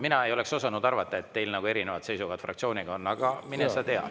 Mina ei oleks osanud arvata, et teil on fraktsiooniga erinevad seisukohad, aga mine sa tea.